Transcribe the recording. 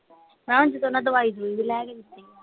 ਹੈਂ ਜਦੋਂ ਓਹਨਾ ਨੇ ਦਵਾਈ